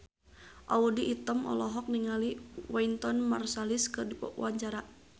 Audy Item olohok ningali Wynton Marsalis keur diwawancara